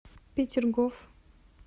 петергоф